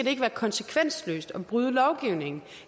ikke være konsekvensløst at bryde lovgivningen